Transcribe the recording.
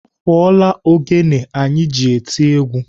Ọ fụọla ogene anyị ji eti egwu.